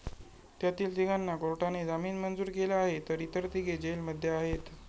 त्यातील तिघांना कोर्टाने जामीन मंजूर केला आहे तर इतर तिघे जेलमध्ये आहेत.